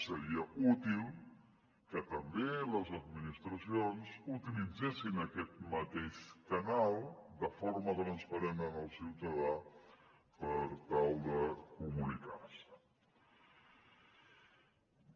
seria útil que també les administracions utilitzessin aquest mateix canal de forma transparent amb el ciutadà per tal de comunicar se